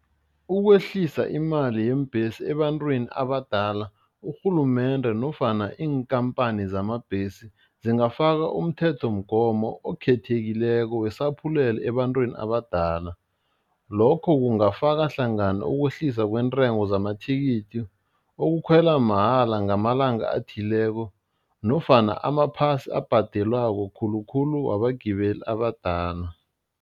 Ukwehlisa imali yeembhesi ebantwini abadala, urhulumende nofana iinkhamphani zamabhesi, zingafaka umthethomgomo okhethekileko wesaphulelo ebantwini abadala lokho kungafaka hlangana ukwehlisa kwentengo zamathikithi, ukukhwela mahala ngamalanga athileko, nofana amaphasi abhadelwako khulukhulu wabagibeli abadala.